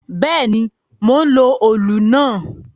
Bẹ́ẹ̀ ni, mò ń lo òlù náà.